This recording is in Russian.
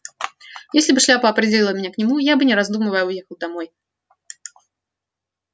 если бы шляпа определила меня к нему я бы не раздумывая уехал домой